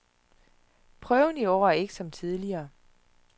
Prøven i år er ikke som tidligere.